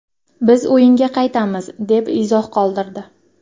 Biz o‘yinga qaytamiz”, deb izoh qoldirdi .